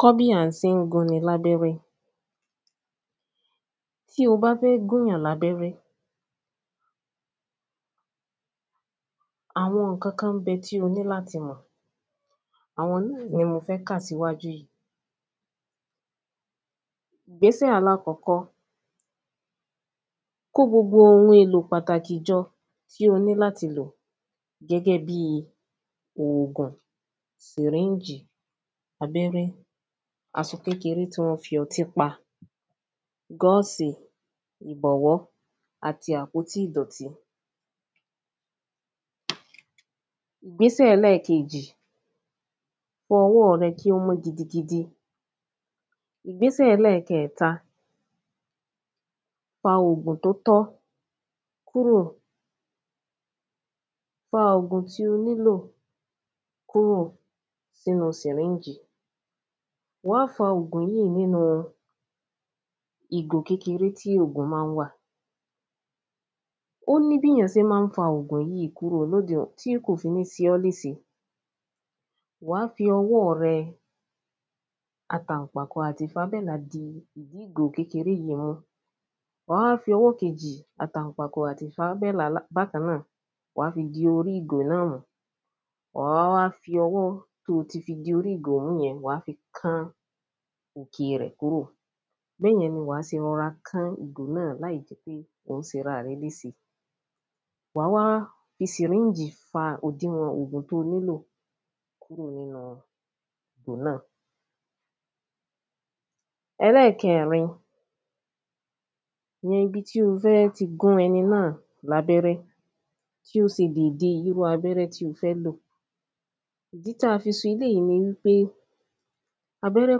Kọ́ bí à sé ń gún ni lábẹ́rẹ́. Tí o bá fẹ́ gún yàn lábẹ́rẹ́ àwọn nǹkan kan ń bẹ tí o ní láti mọ̀ àwọn náà ni mo fẹ́ kà síwájú yìí ìgbésẹ̀ alákọ́kọ́ kó gbogbo ohun pàtàkì jọ tó ní láti lò gẹ́gẹ́ bí ògùn sìríìgì abẹ́rẹ́ asọ kékeré tí wọ́n fi ọtí pa gọ́ọ̀sì ìbọ̀wọ́ àti àpótí ìdọ̀tí. Ìgbésẹ̀ ẹlẹ́ẹ̀kejì fọ ọwọ́ rẹ kí ó mọ́ gidigidi. Ìgbésẹ̀ ẹlẹ́ẹ̀kẹta fa ògùn tó tọ́ kúrò fa ògùn tó tọ́ kúrò nínú sìríìjì wàá fa ògùn yìí nínú ìgò kékeré tí ògùn má ń wà. Ó ní bíyàn sé má ń fa ògùn yìí tí kò ní fi se ọ́ lése wàá fi ọwọ́ rẹ àtànpàkò? ìdí ìgò kékeré dìímú wàá wá fi ọwọ́ kejì àtànpàkò? bákan náà di orí ìgò náà mú wàá wá fi ọwọ́ tí o ti fi di orí ìgò mú yẹn wàá wá fi kán orí ẹ̀ kúrò bẹ́yẹn ni wàá se kán orí ẹ̀ kúrò láì sera rẹ lése wàá wá fi sìríìjì fa òdiwọ̀n ògùn tó nílò kúrò nínú ìgò náà. Ẹlẹ́ẹ̀kẹrin yan ibi tí o fẹ́ ti gún ẹni náà lábẹ́rẹ́ kí o sì wo ìdí abẹ́rẹ́ tí o fẹ́ lò ìdí tá fi sọ eléèyí ni pé abẹ́rẹ́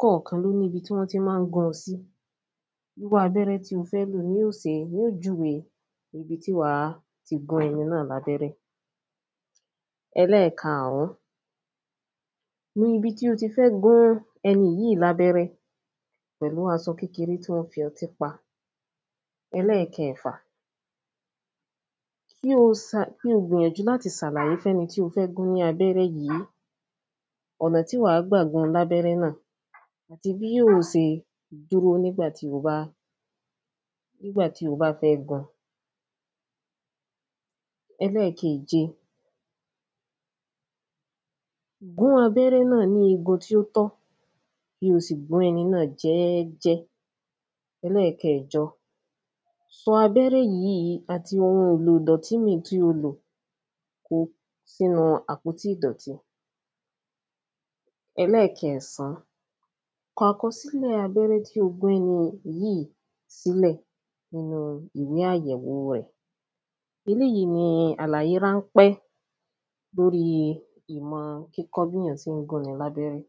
kọ̀kan ló ní ibi tán má ń gún sí irú abẹ́rẹ́ tí o fẹ́ lò ni ó se ni ó júwe ibi tí wàá ti gún ẹni náà lábẹ́rẹ́. Ẹlẹ́ẹ̀karùn nu ibi tí o ti fẹ́ gún ẹni yìí lábẹ́rẹ́ pẹ̀lú asọ kékeré tí wọ́n fi ọtí pa. Ẹlẹ́ẹ̀kẹfà kí o sa kí o gbìyànjú láti sàlàyé fún ẹni tí o fẹ́ gún lábẹ́rẹ́ yìí ọ̀nà tí wàá gbà gún lábẹ́rẹ́ náà bí yóò se dúró nígbà tí o bá nígbà tí o bá fẹ́ gún. Ẹlẹ́ẹ̀keje gún abẹ́rẹ́ náà ní igun tí ó tọ́ kí o sì gbọ́ ẹni náà jẹ́jẹ́ Ẹlẹ́ẹ̀kẹjọ sọ abẹ́rẹ́ yìí àti ohun èlò ìdọ̀tí mí tí o lò sínú àpòtí ìdọ̀tí. Ẹlẹ́ẹ̀kẹsàn kọ àkọsílẹ̀ abẹ́rẹ́ tí o gún ẹni yìí sílẹ̀ nínú ìwé àyẹ̀wò rẹ̀ eléèyí ni àlàyé ránpẹ́ lórí ìmọ̀ kíkọ́ béyàn sé ń gún ni lábẹ́rẹ́.